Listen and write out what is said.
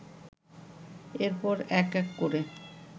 এরপর এক এক করে